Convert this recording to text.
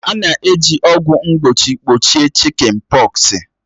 A na-eji ọgwụ mgbochi gbochie chị́kịn pọksi